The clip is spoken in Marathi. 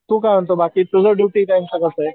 तू काय म्हणतो बाकी तुझं ड्युटी टाइम च कसाय